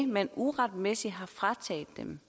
man uretmæssigt har frataget dem